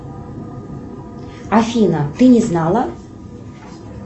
афина ты не знала